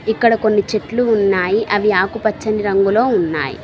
ఇక్కడ కొన్ని చెట్లు ఉన్నాయి అవి ఆకుపచ్చని రంగులో ఉన్నాయి.